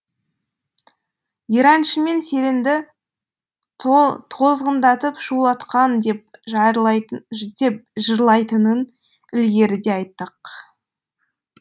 ераншы мен серенді тозғындатып шулатқан деп деп жырлайтынын ілгеріде айттық